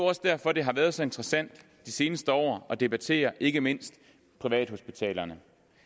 også derfor det har været så interessant de seneste år at debattere ikke mindst privathospitalerne